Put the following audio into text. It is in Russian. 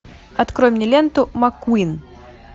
открой мне ленту маккуин